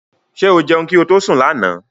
Ṣé o jẹun kí ó tó sún lànà?